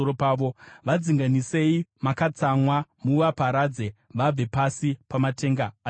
Vadzinganisei makatsamwa muvaparadze, vabve pasi pamatenga aJehovha.